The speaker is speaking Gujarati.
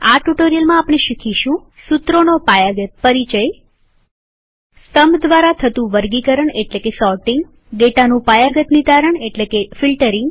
આ ટ્યુટોરીયલમાં આપણે આ વિશે શીખીશું સુત્રોનો પાયાગત પરિચય સ્તંભ દ્વારા થતું વર્ગીકરણસોર્ટીંગ ડેટાનું પાયાગત નીતારણ એટલેકે ફિલ્ટરીંગ